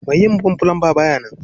Mai yi min fulamba ba ya nan